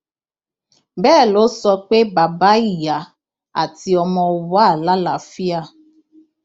bẹẹ ló sọ pé bàbá ìyá àti ọmọ wà lálàáfíà